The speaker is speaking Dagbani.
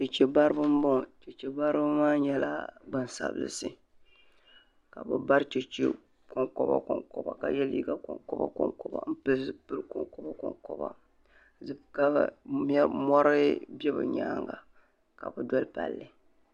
Cheche bariba m boŋɔ cheche bariba maa nyɛla gbansabilisi ka bɛ bari cheche konkoba konkoba ka ye liiga konkoba konkoba m pili zipilgu konkoba konkoba ka mori be bɛ nyaanga ka bɛ doli palli.